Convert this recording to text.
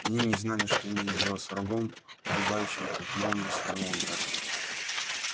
они не знали что имеют дело с врагом убивающим как молния с одного удара